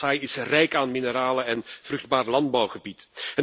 Kasaï is rijk aan mineralen en vruchtbaar landbouwgebied.